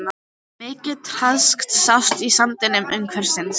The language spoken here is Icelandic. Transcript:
Mikið traðk sást í sandinum umhverfis.